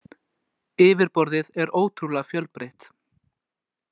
Yfirborðið er ótrúlega fjölbreytt.